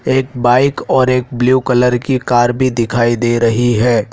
एक बाइक और एक ब्लू कलर की कार भी दिखाई दे रही है।